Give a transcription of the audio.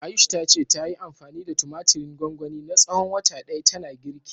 Ayush ta ce, tayi anfani da tumatirin gwangwani na tsawon wata ɗaya tana girki.